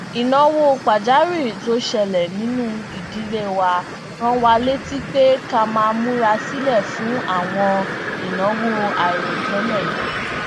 ìnáwó pàjáwìrì tó ṣẹlẹ nínú ìdílé wa rán wa létí pé ká máa múra sílẹ fún àwọn ìnáwó àìròtẹlẹ